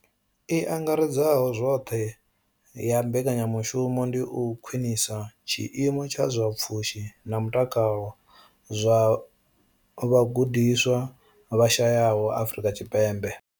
I angaredzaho zwoṱhe ya mbekanya mushumo ndi u khwinisa tshiimo tsha zwa pfushi na mutakalo zwa vhagudiswa vha shayaho Afrika Tshipembe.